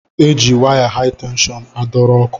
E ji waya hai tenshọn a dọrọ ọkụ.